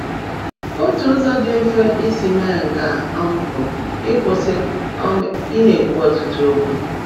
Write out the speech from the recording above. Otu ụzọ dị mfe isi mee nke a um bụ ịkwụsị um ị na-ekwu ọtụtụ okwu.